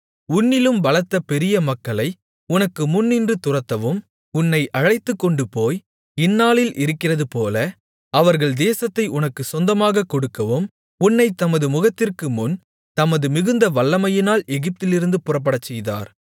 உன்னிலும் பலத்த பெரிய மக்களை உனக்கு முன்னின்று துரத்தவும் உன்னை அழைத்துக்கொண்டுபோய் இந்நாளில் இருக்கிறதுபோல அவர்கள் தேசத்தை உனக்குச்சொந்தமாகக் கொடுக்கவும் உன்னைத் தமது முகத்திற்குமுன் தமது மிகுந்த வல்லமையினால் எகிப்திலிருந்து புறப்படச்செய்தார்